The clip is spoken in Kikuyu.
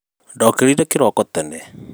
ndokĩrire kĩroko tene